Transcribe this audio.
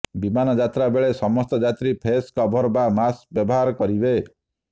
ବିମାନ ଯାତ୍ରା ବେଳେ ସମସ୍ତ ଯାତ୍ରୀ ଫେସ୍ କଭର ବା ମାସ୍କ ବ୍ୟବହାର କରିବେ